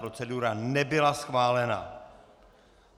Procedura nebyla schválena.